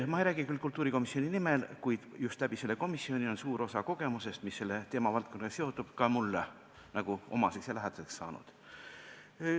Ma ei räägi küll kultuurikomisjoni nimel, kuid just tänu sellele komisjonile on suur osa kogemusest, mis selle teemavaldkonnaga seondub, mulle osaks saanud.